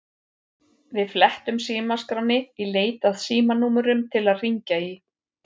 Við flettum símaskránni í leit að símanúmerum til að hringja í.